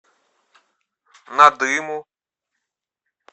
надыму